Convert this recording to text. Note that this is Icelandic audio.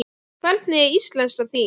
Hvernig er íslenskan þín?